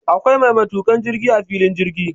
Akwai mai matukan jirki a filin jirgi